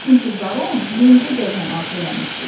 Çünki baron yencə qəlyanaltı eləmişdi.